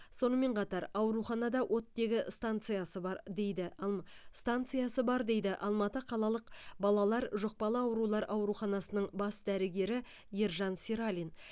сонымен қатар ауруханада оттегі станциясы бар дейді м станциясы бар дейді алматы қалалық балалар жұқпалы аурулар ауруханасының бас дәрігері ержан сералин